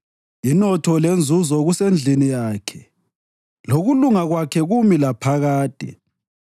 Inotho lenzuzo kusendlini yakhe, lokulunga kwakhe kumi laphakade.